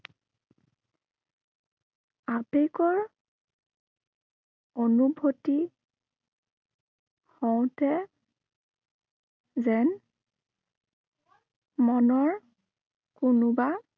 আবেগৰ অনুভূতি হওঁতে যেন মনৰ কোনোবা